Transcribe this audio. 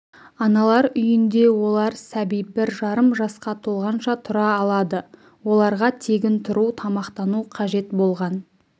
аналар үйінде олар сәби бір жарым жасқа толғанша тұра алады оларға тегін тұру тамақтану қажет болған